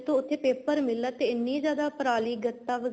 ਉੱਥੇ paper mill ਆ ਤੇ ਐਨੀ ਜਿਆਦਾ ਪਰਾਲੀ ਗੱਤਾ